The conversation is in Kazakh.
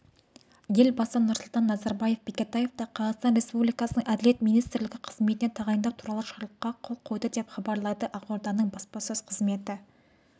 елбасы нұрсұлтан назарбаев бекетаевты қазақстан республикасының әділет министрі қызметіне тағайындау туралы жарлыққа қол қойды деп хабарлайды ақорданың баспасөз қызметі